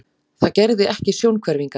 Það gerði ekki sjónhverfingar.